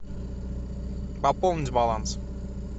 пополнить баланс